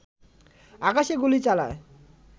আকাশে গুলি চালায়